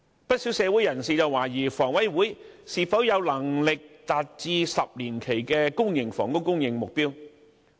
不少社會人士懷疑香港房屋委員會是否有能力達致10年期的公營房屋供應目標。